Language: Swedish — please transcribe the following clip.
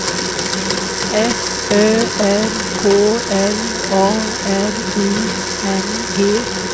F Ö R K L A R I N G